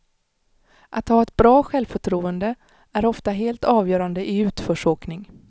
Att ha ett bra självförtroende är ofta helt avgörande i utförsåkning.